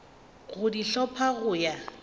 go di hlopha go ya